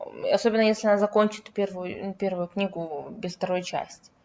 особенно если она закончит первую первую книгу без второй части